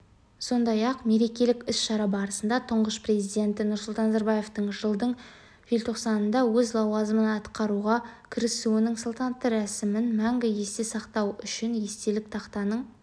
сондай-ақ мерекелік іс-шара барысында тұңғыш президенті нұрсұлтан назарбаевтың жылдың желтоқсанында өз лауазымын атқаруға кірісуінің салтанатты рәсімін мәңгі есте сақтауүшін естелік тақтаның